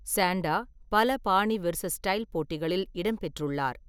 Santa பல பாணி-வெர்சஸ்-ஸ்டைல் போட்டிகளில் இடம்பெற்றுள்ளார்.